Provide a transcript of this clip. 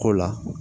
Ko la